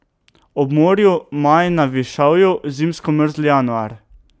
Ob morju maj, na višavju zimsko mrzli januar.